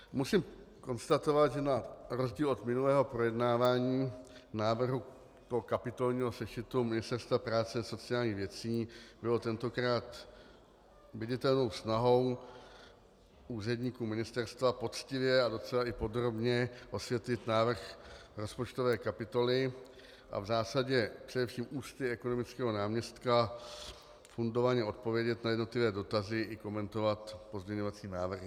Musím konstatovat, že na rozdíl od minulého projednávání návrhu kapitolního sešitu Ministerstva práce a sociálních věcí bylo tentokrát viditelnou snahou úředníků ministerstva poctivě a docela i podrobně osvětlit návrh rozpočtové kapitoly a v zásadě především ústy ekonomického náměstka fundovaně odpovědět na jednotlivé dotazy i komentovat pozměňovací návrhy.